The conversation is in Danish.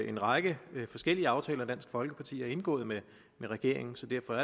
en række forskellige aftaler dansk folkeparti har indgået med regeringen så derfor